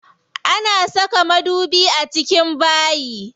Ana saka madubi a cikin bayi.